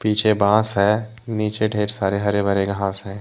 पीछे बास है। नीचे ढेर सारे हरे भरे घास है।